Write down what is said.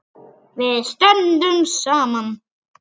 Við stöndum saman.